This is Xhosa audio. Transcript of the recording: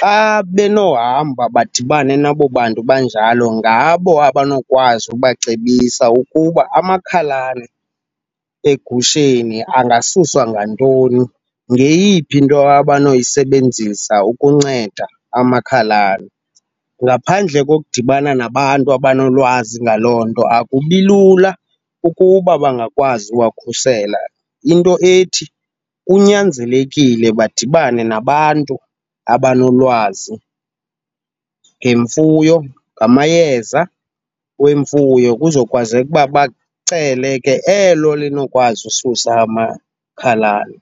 Xa benohamba badibane nabo bantu banjalo ngabo abonokwazi ukubacebisa ukuba amakhalane egusheni angasuswa ngantoni, ngeyiphi into abanoyisebenzisa ukunceda amakhalane. Ngaphandle ngokudibana nabantu abanolwazi ngaloo nto akubilula ukuba bangakwazi uwakhusela. Into ethi kunyanzelekile badibane nabantu abanolwazi ngemfuyo, ngamayeza wemfuyo kuzokwazeka uba bacele ke elo linokwazi ususa amakhalane.